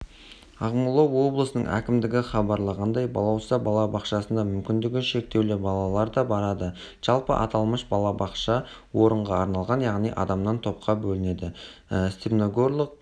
ақмола облысының әкімдігі хабарлағандай балауса балабақшасына мүмкіндігі шектеулі балалар да барады жалпы аталмыш балабақша орынға арналған яғни адамнан топқа бөлінеді степногорлық